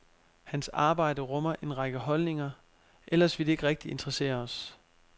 Hans arbejde rummer en række holdninger, ellers ville det ikke rigtig interessere os.